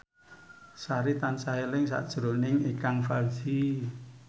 Sari tansah eling sakjroning Ikang Fawzi